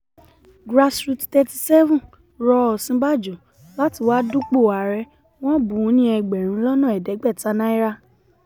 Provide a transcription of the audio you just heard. grassroots thirty seven rọ òsínbàjò láti wáá dúpọ̀ ààrẹ wọn bùn ún ní ẹgbẹ̀rún lọ́nà ẹ̀ẹ́dẹ́gbẹ̀ta náírà